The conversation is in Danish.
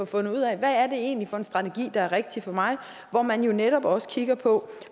fundet ud af hvad er det egentlig for en strategi der er rigtig for mig hvor man netop også kigger på